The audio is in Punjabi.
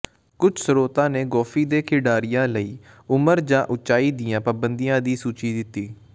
ਕੁਝ ਸ੍ਰੋਤਾਂ ਨੇ ਗੋਫੀ ਦੇ ਖਿਡਾਰੀਆਂ ਲਈ ਉਮਰ ਜਾਂ ਉਚਾਈ ਦੀਆਂ ਪਾਬੰਦੀਆਂ ਦੀ ਸੂਚੀ ਦਿੱਤੀ